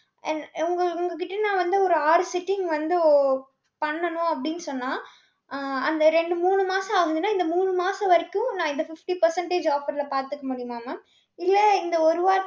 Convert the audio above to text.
என்~ உங்க உங்க கிட்ட நான் வந்து ஒரு ஆறு sitting வந்து, பண்ணணும் அப்படின்னு சொன்னா அஹ் அந்த ரெண்டு, மூணு மாசம் ஆகுதுன்னா, இந்த மூணு மாசம் வரைக்கும், நான் இந்த fifty percentage offer ல பாத்துக்க முடியுமா mam? இல்ல, இந்த ஒரு வார~